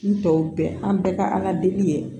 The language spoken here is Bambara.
N tɔw bɛɛ an bɛɛ ka aladeli ye